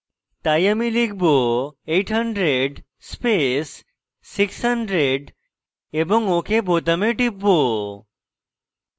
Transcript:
তাই আমি লিখব 800 space 600 এবং ok বোতামে type